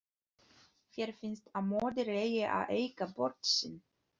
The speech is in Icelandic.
Þér finnst að móðir eigi að eiga börn sín.